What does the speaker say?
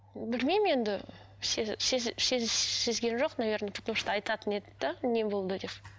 білмеймін енді сезген жоқ наверное потому что айтатын еді де не болды деп